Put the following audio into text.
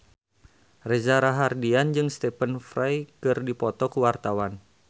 Reza Rahardian jeung Stephen Fry keur dipoto ku wartawan